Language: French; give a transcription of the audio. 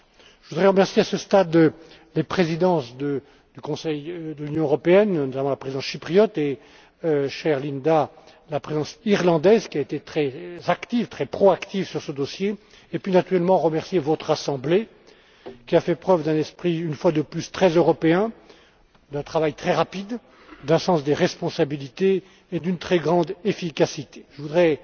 Je voudrais remercier, à ce stade, les présidences du Conseil de l'Union européenne, notamment la présidence chypriote et, chère Linda, la présidence irlandaise, qui a été très proactive sur ce dossier et puis, naturellement, je tiens à remercier votre Assemblée, qui a fait preuve d'un esprit, une fois de plus, très européen, d'une grande rapidité dans ses travaux, d'un sens des responsabilités et d'une très grande efficacité. Je voudrais,